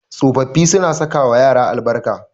Tsofaffi suna sakawa yara albarka.